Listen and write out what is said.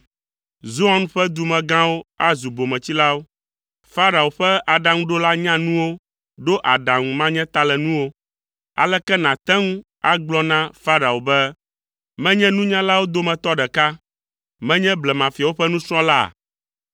Zoan ƒe dumegãwo azu bometsilawo. Farao ƒe aɖaŋuɖola nyanuwo ɖo aɖaŋu manyatalenuwo. Aleke nàte ŋu agblɔ na Farao be, “Menye nunyalawo dometɔ ɖeka, menye blemafiawo ƒe nusrɔ̃la?”